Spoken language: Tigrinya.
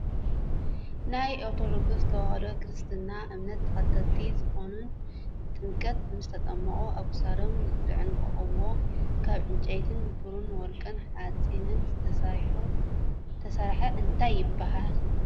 ናይ ኣርቶዶክስ ተዋህዶ ክርስትና እምነት ተከተልቲ ዝኮኑን ጥምቀት ምስ ተጠመቁ ኣብ ክሳዶም ዝዕነቅዋን ካብ ዕንጨይትን ብርን ወርቅን ሓፂንን ተስራሕ እንትይ ትብሃል?